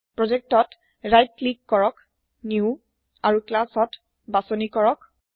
project ত সো ক্লিককৰক নিউ আৰু ক্লাছ ত বাছনি কৰক